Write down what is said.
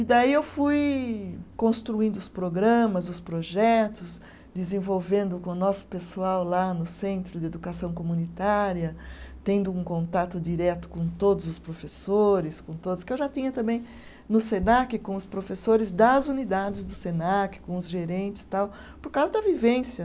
E daí eu fui construindo os programas, os projetos, desenvolvendo com o nosso pessoal lá no Centro de Educação Comunitária, tendo um contato direto com todos os professores, com todos, que eu já tinha também no Senac, com os professores das unidades do Senac, com os gerentes tal, por causa da vivência.